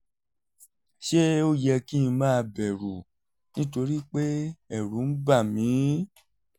ṣé ó yẹ kí n máa bẹ̀rù nítorí pé ẹ̀rù ń bà mí?